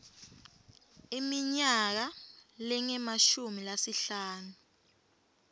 iminyaka lengemashumi lasihlanu